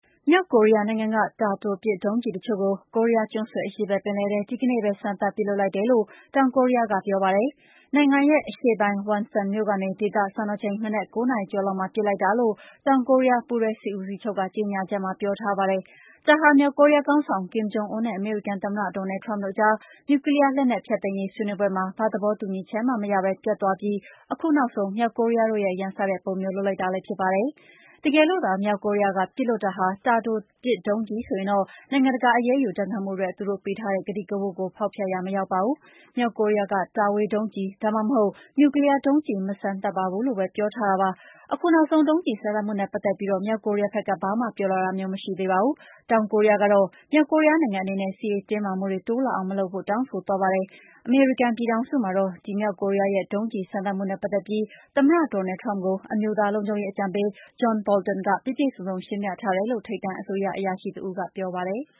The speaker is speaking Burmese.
မြောက်ကိုရီးယားနိုင်ငံက တာတိုပစ် ဒုံးကျည်တချို့ကို ကိုးရီးယားကျွန်းဆွယ် အရှေ့ဘက်ပင်လယ်ထဲ ဒီကနေ့ပဲ စမ်းသပ်ပစ်လွှတ်လိုက်တယ်လို့ တောင်ကိုရီးယားက ပြောပါတယ်။ နိုင်ငံရဲ့ အရှေ့ပိုင်း Wonsan မြို့ကနေ ဒေသစံတော်ချိန် မနက် ၉ နာရီကျော်လောက်မှာ ပစ်လိုက်တာလို့ တောင်ကိုရီးယား ပူးတွဲစစ်ဦးစီးချုပ် က ကြေညာချက်မှာ ပြောထားပါတယ်။ ဒါဟာ မြောက်ကိုရီးယားခေါင်းဆောင် Kim Jong Un နဲ့ အမေရိကန်သမ္မတ Donald Trump တို့အကြား နျူကလီးယား လက်နက်ဖျက်သိမ်းရေး ဆွေးနွေးပွဲမှာ ဘာသဘောတူညီချက်မှမရပဲ ပျက်သွားပြီး အခုနောက်ဆုံး မြောက်ကိုရီးယားတို့ ရန်စတဲ့ပုံမျိုး လုပ်လိုက်တာလည်း ဖြစ်ပါတယ်။ တကယ်လို့သာ မြောက်ကိုရီးယားက ပစ်လွှတ်တာဟာ တာတိုပစ်ဒုံးကျည်ဆိုရင်တော့ နိုင်ငံတကာ အရေးယူဒဏ်ခတ်မှုအတွက် သူတို့ပေးထားတဲ့ ကတိကဝတ်ကို ဖောက်ဖျက်ရာမရောက်ပါဘူး။ မြောက်ကိုရီးယားက တာဝေးဒုံးကျည် ဒါမှမဟုတ် နျူကလီးယားဒုံးကျည် မစမ်းသပ်ပါဘူးလို့ပဲ ပြောထားတာ ဖြစ်ပါတယ်။ အခုနောက်ဆုံး ဒုံးကျဉ် စမ်းသပ်မှုနဲ့ပတ်သက်ပြီး မြောက်ကိုရီးယားဘက်က ဘာမှ ပြောလာတာမျိုး မရှိသေးပါဘူး။ တောင်ကိုရီးယားကတော့ မြောက်ကိုရီးယားနိုင်ငံအနေနဲ့ စစ်ရေးတင်းမာမှုတွေ တိုးလာအောင်မလုပ်ဖို့ တောင်းဆိုသွားပါတယ်။ အမေရိကန်ပြည်ထောင်စုမှာ တော့ ဒီမြောက်ကိုရီးယားရဲ့ ဒုံးကျည်စမ်းသပ်မှုနဲ့ ပတ်သတ်ပြီး သမ္မတ Donald Trump ကို အမျိုးသားလုံခြုံရေးအကြံပေး John Bolton က ပြည့်ပြည့်စုံစုံ ရှင်းပြထားတယ်လို့ ထိပ်တန်းအစိုးရ အရာရှိတဦးက ပြောပါတယ်။